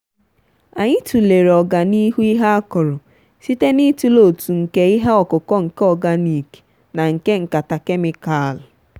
anyị tụlere oga na ihu ihe akoro site n'ịtụle ọtu nke ihe ọkụkụ nke organic na nke nkata kemịkalụ.